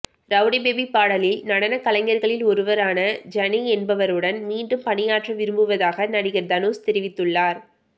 rowdy baby பாடலில் நடன கலைஞர்களில் ஒருவரான ஜனி என்பவருடன் மீண்டும் பணியாற்ற விரும்புவதாக நடிகர் தனுஷ் தெரிவித்துள்ளார்